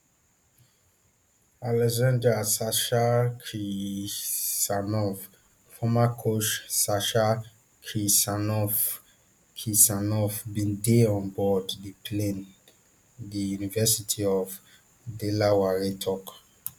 alexandr sasha kirsanov former coach sasha kirsanov kirsanov bin dey on board di plane di university of delaware tok